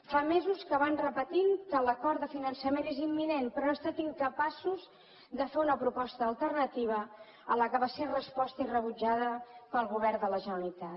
fa mesos que van repetint que l’acord de finançament és imminent però han estat incapaços de fer una proposta alternativa a la que va ser resposta i rebutjada pel govern de la generalitat